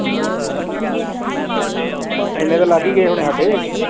ਏਨੇ ਤੇ ਲਾਗ ਗਾਯ ਹੋਣੇ ਸਾਡੇ